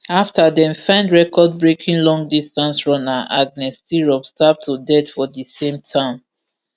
afta dem find recordbreaking longdistance runner agnes tirop stabbed to death for di same town